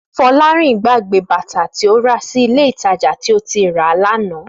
Fọlárìn gbàgbé bàtà tí ó rà sí Ilé-ìtajà tí ó ti rà á lánàá